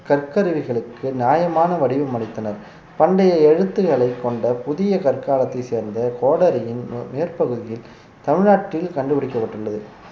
கற்கருவிகளுக்கு நியாயமான வடிவம் அளித்தனர் பண்டைய எழுத்துக்களைக் கொண்ட புதிய கற்காலத்தைச் சேர்ந்த கோடாரியின் மேற்பகுதியில் தமிழ்நாட்டில் கண்டுபிடிக்கப்பட்டுள்ளது